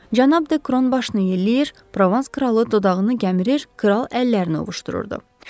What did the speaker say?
Cənab Dekron başını yelləyir, provans kralı dodağını gəmirir, kral əllərini ovuşdururdu.